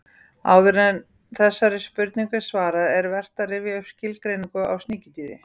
Áður en þessari spurningu er svarað er vert að rifja upp skilgreiningu á sníkjudýri.